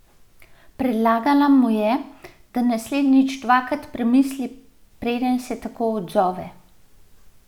Predlagala mu je, da naslednjič dvakrat premisli, preden se tako odzove.